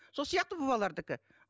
сол сияқты бұл балалардікі